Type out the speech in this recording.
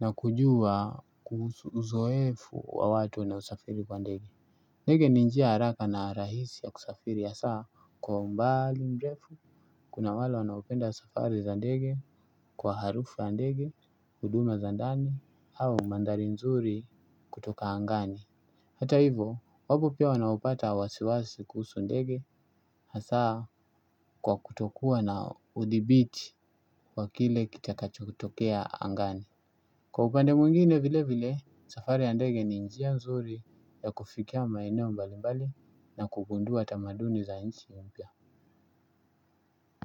Na kujua kuhusu uzoefu wa watu na usafiri kwa ndege. Ndege ni njia haraka na rahisi ya kusafiri hasa kwa umbali mrefu. Kuna wale wanaopenda safari za ndege kwa harufu ya ndege, huduma za ndani au mandhari nzuri kutoka angani. Hata hivyo wapo pia wanaopata wasiwasi kuhusu ndege hasa kwa kutokuwa na udhibiti kwa kile kitakachotokea angani. Kwa upande mwingine vilevile safari ya ndege ni njia nzuri ya kufikia maeneo mbalimbali na kugundua tamaduni za nchi mpya.